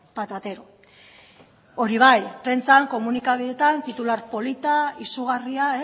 patatero hori bai prentsan komunikabideetan titular polita izugarria